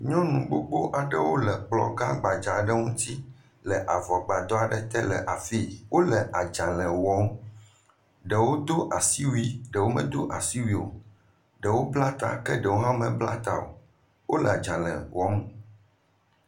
Nyɔnu gbogbo aɖewo le kplɔ gã gbadza aɖe ŋuti le avɔgbadɔ aɖe te le afii, wole adzalɛ wɔm, ɖewo do asi wui ɖewo medo asi wui o, ɖewo bla ta ke ɖewo mebla ta o, wole adzalɛ wɔm.